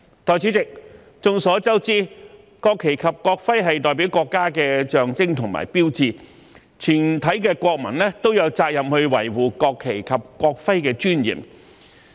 代理主席，眾所周知，國旗及國徽是國家的象徵和標誌，全體國民都有責任維護國旗及國徽的尊嚴。